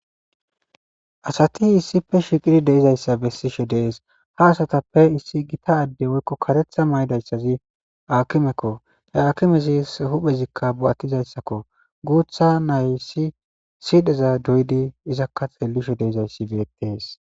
asati issippe shiqidi de'izayssa bessishe dees, ha asatappe issi gita adde woykko karetha maydayssazi akimekko, he akimezis huphezikka bo'attizayssakko, guutha naysi sidheza doydi izakka xelishe de'izayssi beettees